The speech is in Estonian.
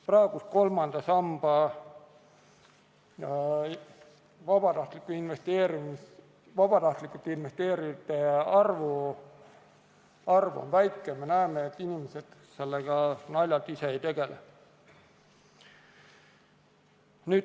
Praegune kolmandasse sambasse vabatahtlikult investeerijate arv on väike, me näeme, et naljalt inimesed sellega ise ei tegele.